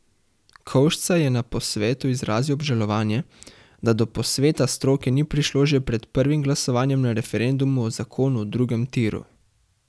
Kovšca je na posvetu izrazil obžalovanje, da do posveta stroke ni prišlo že pred prvim glasovanjem na referendumu o zakonu o drugem tiru.